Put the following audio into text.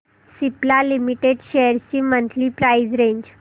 Cipla limited shares ची monthly price range